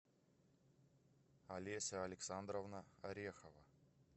олеся александровна орехова